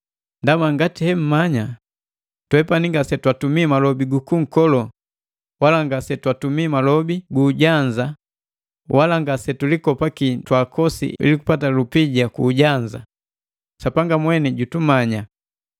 Ndaba ngati hemmanya, twepani ngasetwatumi malobi guku kukolo wala ngase twatumi malobi gu ujanza wala ngase tulikopaki twaakosi ili kupata lupija ku ujanza, Sapanga mweni jumanya.